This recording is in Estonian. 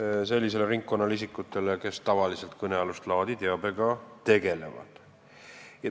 sellele isikute ringkonnale, kes tavaliselt kõnealust laadi teabega tegelevad.